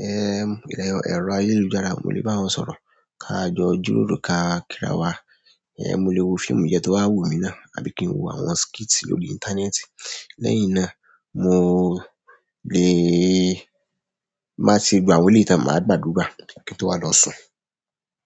ẹ́, ẹ̀rọ ayélujára, mo lè bá wọn sọ̀rọ̀. Ká jọ jíròrò, ká kíra wa. Ẹ̀, mo lè wo fíìmù díẹ̀ tó bá wù mí náà àbí kí n wo àwọn skit lórí íńtánẹ́ẹ̀tì. Lẹ́yìn náà, mo lè má tí gbà wòlé tí mo máa gbàdúrà kí n tó wá lọ sùn.